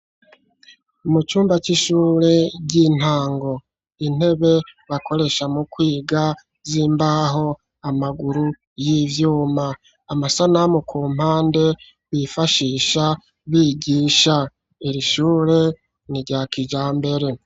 Mu cumba c'ishure ry'intango, intebe bakoresha mu kwiga z'imbaho, amaguru y'ivyuma, amasanamu ku mpande bifashisha bigisha, iri shure nirya kijambere.